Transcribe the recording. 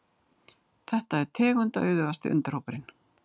Þetta er tegundaauðugasti undirhópurinn.